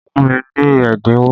Fún mi ní ẹ́dínwó!